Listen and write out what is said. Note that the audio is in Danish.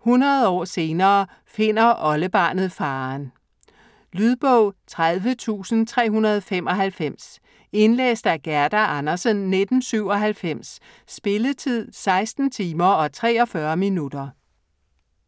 100 år senere finder oldebarnet faderen. Lydbog 30395 Indlæst af Gerda Andersen, 1997. Spilletid: 16 timer, 43 minutter.